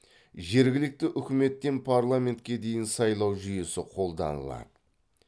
жергілікті үкіметтен парламентке дейін сайлау жүйесі қолданылады